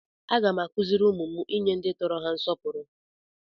Aga m akụziri ụmụ m inye ndị tọrọ ha nsọpụrụ.